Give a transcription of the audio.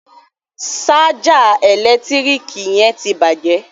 Ṣájà ẹ̀lẹ́tíríkì yẹn ti bàjẹ́